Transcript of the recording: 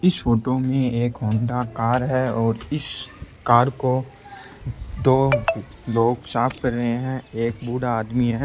इस photo में एक Honda car है और इस कार को दो लोग साफ़ कर रहे है एक बूढ़ा आदमी है।